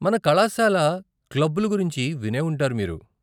మన కళాశాల క్లబ్బులు గురించి వినేవుంటారు మీరు.